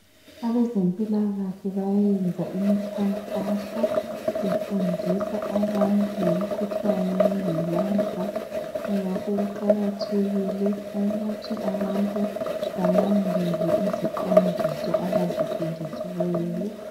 Abaze mpilakahle bayayenza imikhakanso befundisa abantu ngomkhuhlane wengcolaza kungakho kuqakathekile ukuthi abantu bala ndele iziqondiso abaziphiweyo.